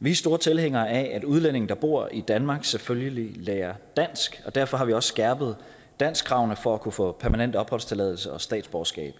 vi er store tilhængere af at udlændinge der bor i danmark selvfølgelig lærer dansk og derfor har vi også skærpet danskkravene for at kunne få permanent opholdstilladelse og statsborgerskab